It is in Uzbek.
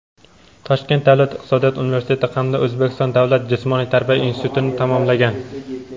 Toshkent davlat iqtisodiyot universiteti hamda O‘zbekiston davlat jismoniy tarbiya institutini tamomlagan.